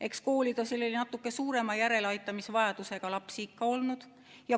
Eks koolides on selliseid natuke suurema järeleaitamisvajadusega lapsi ikka olnud.